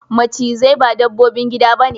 Macizai ba dabbobin gida ba ne.